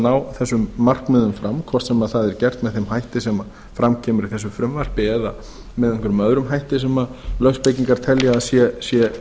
ná þessum markmiðum fram hvort sem það er gert með þeim hætti sem fram kemur í þessu frumvarpi eða með einhverjum öðrum hætti sem lögspekingar telja